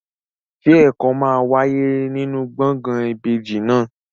Ṣé ẹ̀kọ́ máa wáyé nínú gbọ̀ngàn ìbejì náà?